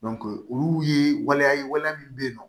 olu ye waleya ye waleya min bɛ yen nɔ